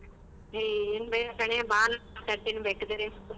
ಹೇ ಕಣೆ ಬಾ ನಾನ್ ಮಾತಾಡ್ತಿನಿ ಬೇಕಿದರೆ.